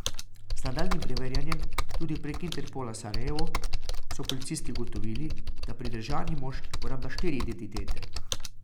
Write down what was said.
Z nadaljnjim preverjanjem, tudi preko Interpola Sarajevo, so policisti ugotovili, da pridržani moški uporablja štiri identitete.